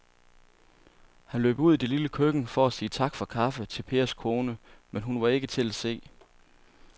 Han løb ud i det lille køkken for at sige tak for kaffe til Pers kone, men hun var ikke til at se.